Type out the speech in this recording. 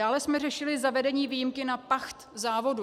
Dále jsme řešili zavedení výjimky na pacht závodu.